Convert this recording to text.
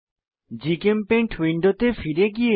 GChemPaint উইন্ডোতে ফিরে যাই